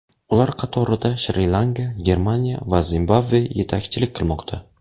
Ular qatorida Shri-Lanka, Germaniya va Zimbabve yetakchilik qilmoqda.